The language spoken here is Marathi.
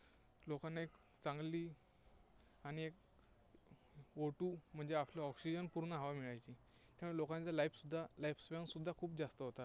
लोकांना एक चांगली आणि एक O two म्हणजे आपली oxygen पूर्ण हवा मिळायची, त्यामुळे लोकांचं life सुद्धा, life span सुद्धा खूप जास्त होता.